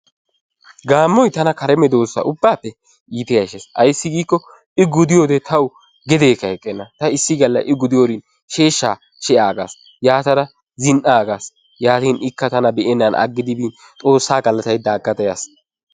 Gaammoy tana kare medoosa ubbaappe iita yashshees. Ayssi giikko I gudiyode tawu gedeeekka eqqenna. Ta issi galla I gudiyorin sheeshshaa she'aagas. Yaatara zin"aagas. Yaatara ikka tana be'ennan aggidi bin xoossaa galataydda aggada yaas.